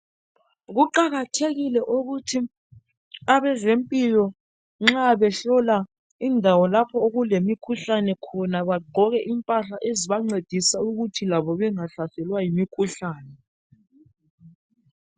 Kuqakathekile ukuthi abezempilakahle nxa behlola indawo lapho okulomhlane bagqoke impahla zabo kuze labo besale bevikelekile.